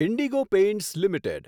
Indigo Paints limited